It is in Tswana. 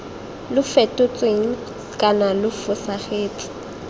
lo fetotsweng kana lo fosagatse